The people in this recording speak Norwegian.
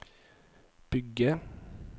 bygge